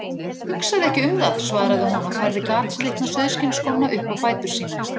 Hugsaðu ekki um það, svaraði hún og færði gatslitna sauðskinnsskóna upp á fætur sína.